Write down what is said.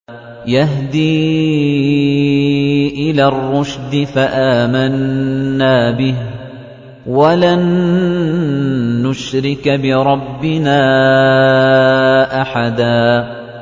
يَهْدِي إِلَى الرُّشْدِ فَآمَنَّا بِهِ ۖ وَلَن نُّشْرِكَ بِرَبِّنَا أَحَدًا